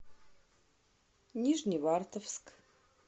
нижневартовск